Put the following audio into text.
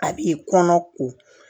A b'i kɔnɔ ko